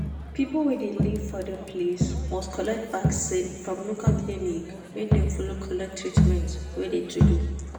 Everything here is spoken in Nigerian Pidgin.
people wey de live for de place must collect vaccin from local clinic make dem follow collect treatment wey de to do.